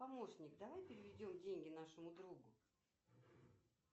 помощник давай переведем деньги нашему другу